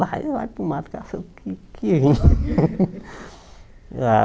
Lá, vai lá para o mato, caçava o que vir